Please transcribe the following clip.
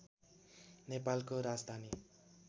नेपालको राजधानी